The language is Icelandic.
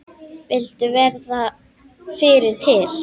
Vildu verða fyrri til.